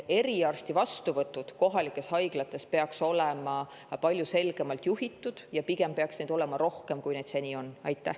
Eriarsti vastuvõtud kohalikes haiglates peaks olema palju selgemalt juhitud ja pigem peaks neid olema rohkem, kui neid seni on olnud.